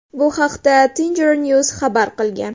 Bu haqda Tengrinews xabar qilgan .